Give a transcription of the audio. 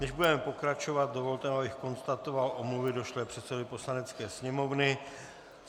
Než budeme pokračovat, dovolte, abych konstatoval omluvy došlé předsedovi Poslanecké sněmovny.